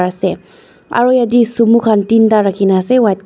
ase aro yatae sumo khan teenta rakhina ase white colour --